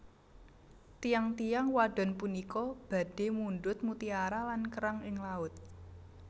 Tiyang tiyang wadon punika badhe mundhut mutiara lan kerang ing laut